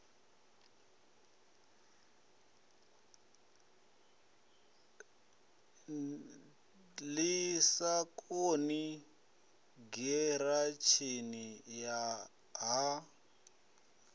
ḓi sagani giratshini ya ha